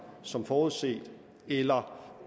som forudset eller